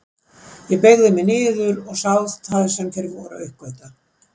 Ég beygði mig niður og sá það sem þeir voru að uppgötva.